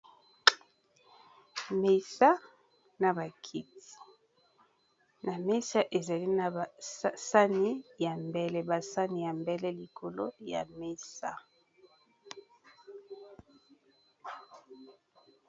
Mesa na ba kiti, na mesa, ezali na basani ya mbele ,basani ya mbele likolo ya mesa.